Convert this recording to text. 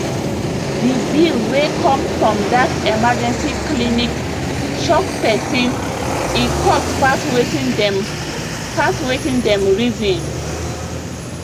the bill wey come from that emergency clinic shock person e cost pass wetin dem pass wetin dem reason